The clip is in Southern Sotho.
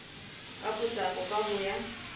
ka potlako ka ho ya